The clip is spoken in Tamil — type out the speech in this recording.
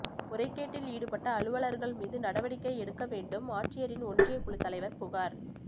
முறைகேட்டில் ஈடுபட்ட அலுவலா்கள் மீது நடவடிக்கை எடுக்க வேண்டும்ஆட்சியரிடம் ஒன்றியக் குழுத் தலைவா் புகாா்